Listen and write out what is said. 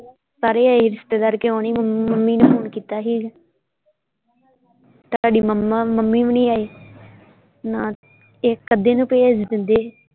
ਸਾਰੇ ਆਏ ਰਿਸ਼ਤੇਦਾਰ ਕਿਓਂ ਨਹੀਂ ਮੰਮੀ ਮੰਮੀ ਨੇ ਫ਼ੋਨ ਕੀਤਾ ਸੀ ਤੁਹਾਡੀ ਮਮਾ ਮੰਮੀ ਵੀ ਨਹੀਂ ਆਏ ਇੱਕ ਅੱਧੇ ਨੂੰ ਭੇਜ ਦਿੰਦੇ।